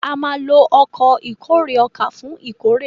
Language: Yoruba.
a má ló Ọkọ̀ ìkórè ọkà fún ìkórè.